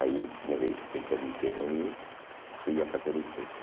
Aí me de me permitiram ir, fui a fazer o teste.